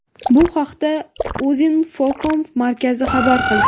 Bu haqda Uzinfocom markazi xabar qilgan.